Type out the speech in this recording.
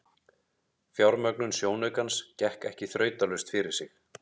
Fjármögnun sjónaukans gekk ekki þrautalaust fyrir sig.